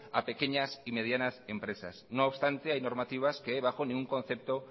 a pequeñas y medianas empresas no obstante hay normativas que bajo ningún concepto